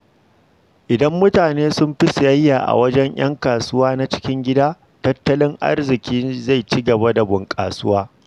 Idan mutane sun fi sayayya a wajen ƴan kasuwa na cikin gida, tattalin arziƙi zai ci gaba da bunƙasa.